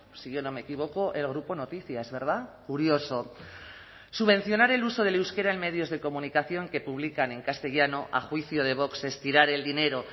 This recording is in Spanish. si yo no me equivoco el grupo noticias verdad curioso subvencionar el uso del euskera en medios de comunicación que publican en castellano a juicio de vox es tirar el dinero